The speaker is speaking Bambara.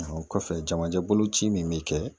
O kɔfɛ jamajɛ bolo ci min be kɛ